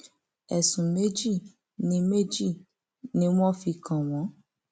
ẹsùn méjì ni méjì ni wọn fi kàn wọn